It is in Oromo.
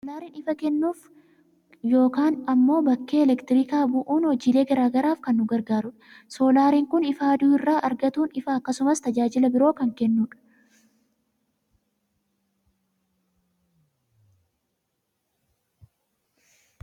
Oomisha soolaarii, soolaariin ifa kennuuf yookaan ammoo bakka elektirikaa bu'uun hojiilee gara garaaf kan nu gargaarudha. Soolaariin kun ifa aduu irraa argatuun ifa , akkasumas tajaajila biroo kan kennu dha.